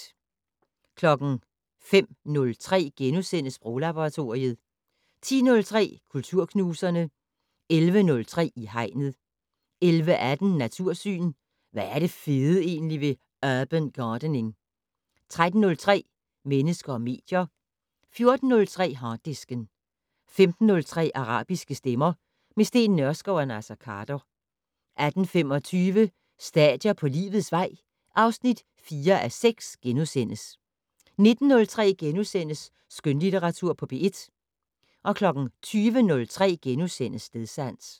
05:03: Sproglaboratoriet * 10:03: Kulturknuserne 11:03: I Hegnet 11:18: Natursyn: Hvad er det fede egentlig ved urban gardening? 13:03: Mennesker og medier 14:03: Harddisken 15:03: Arabiske stemmer - med Steen Nørskov og Naser Khader 18:25: Stadier på livets vej (4:6)* 19:03: Skønlitteratur på P1 * 20:03: Stedsans *